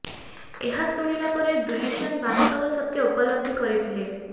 ଏହା ଶୁଣିଲା ପରେ ଦୁଲିଚାନ୍ଦ ବାସ୍ତବ ସତ୍ୟ ଉପଲବ୍ଧି କରିଥିଲେ